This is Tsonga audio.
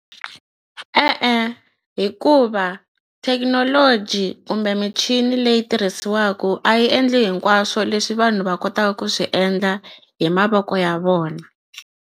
E-e hikuva thekinoloji kumbe michini leyi tirhisiwaku a yi endli hinkwaswo leswi vanhu va kotaka ku swi endla hi mavoko ya vona.